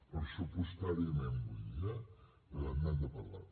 pressupostàriament vull dir eh per tant n’hem de parlar